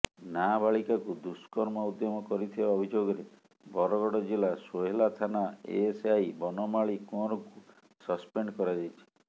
ନାବାଳିକାକୁ ଦୁଷ୍କର୍ମ ଉଦ୍ୟମ କରିଥିବା ଅଭିଯୋଗରେ ବରଗଡ଼ ଜିଲ୍ଲା ସୋହେଲା ଥାନା ଏଏସ୍ଆଇ ବନମାଳି କୁଅଁରଙ୍କୁ ସସପେଣ୍ଡ କରାଯାଇଛି